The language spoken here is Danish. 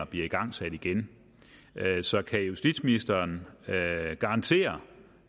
bliver igangsat igen så kan justitsministeren garantere